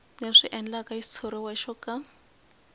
leswi endlaka xitshuriwa xo ka